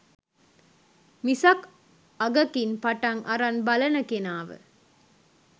මිසක් අගකින් පටන් අරන් බලන කෙනාව